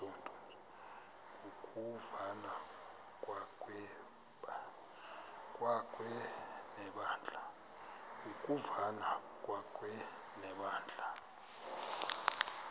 ngokuvana kwakhe nebandla